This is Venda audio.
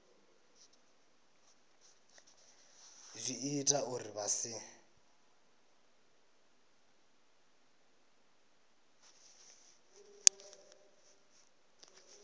zwi ita uri vha si